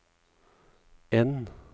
N